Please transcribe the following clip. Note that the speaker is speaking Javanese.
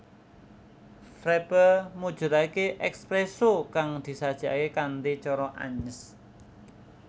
Frappé mujudake espresso kang disajekake kanthi cara anyes